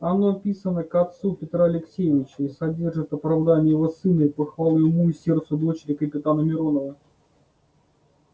оно писано к отцу петра алексеевича и содержит оправдание его сына и похвалы уму и сердцу дочери капитана миронова